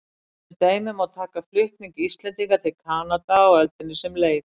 Sem dæmi má taka flutning Íslendinga til Kanada á öldinni sem leið.